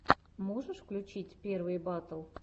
можешь включить первые батл